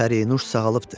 Pərinüş sağalıbdır.